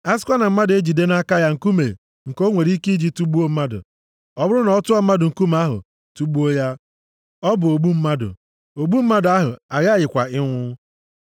A sịkwa na mmadụ ejide nʼaka ya nkume nke o nwere ike iji tugbuo mmadụ, ọ bụrụ na ọ tụọ mmadụ nkume ahụ tugbuo ya, ọ bụ ogbu mmadụ. Ogbu mmadụ ahụ aghakwaghị ịnwụ.